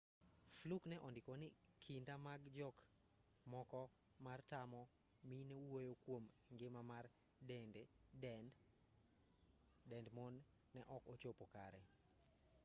fluke ne ondiko ni kinda mag jok moko mar tamo mine wuoyo kwom ngima mar dend mon ne ok ochopo kare